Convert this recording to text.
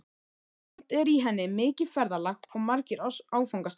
Samt er í henni mikið ferðalag og margir áfangastaðir.